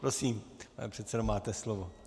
Prosím, pane předsedo, máte slovo.